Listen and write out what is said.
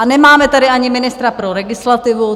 A nemáme tady ani ministra pro legislativu.